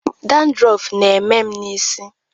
Dandrọf na-eme n'isi.